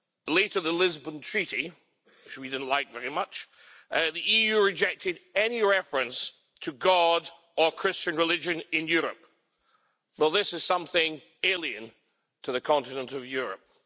later the Lisbon Treaty, which we didn't like very much, the EU rejected any reference to God or Christian religion in Europe. Well, this is something alien to the continent of Europe.